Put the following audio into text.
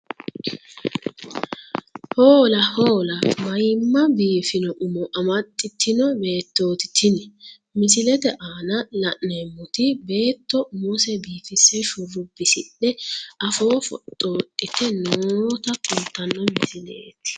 Hoola hoola maayiimma biifino umo amaxxitino beettooti tini misilete aana la'neemmoti beetto umose biifisse shurrubbisidhe afoo foxxoodhite noota kultanno misileeti.